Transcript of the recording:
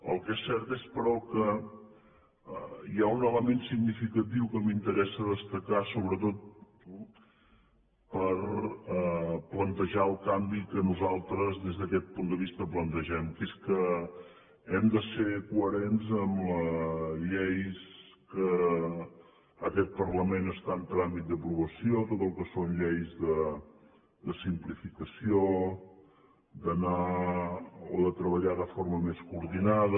el que és cert és però que hi ha un element significatiu que m’interessa destacar sobretot per plantejar el canvi que nosaltres des d’aquest punt de vista plantegem que és que hem de ser coherents amb les lleis que aquest parlament està en tràmit d’aprovació tot el que són lleis de simplificació d’anar o de treballar de forma més coordinada